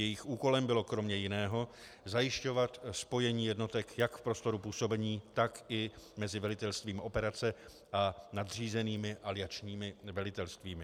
Jejich úkolem bylo kromě jiného zajišťovat spojení jednotek jak v prostoru působení, tak i mezi velitelstvím operace a nadřízenými aliančními velitelstvími.